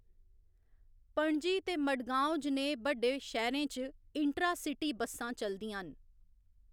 पणजी ते मडगाँव जनेह् बड्डे शैह्‌‌‌रें च इंट्रा सिटी बसां चलदियां न।